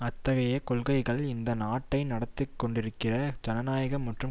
அத்தகைய கொள்கைகள் இந்த நாட்டை நடத்திகொண்டிருக்கிற ஜனநாயக மற்றும்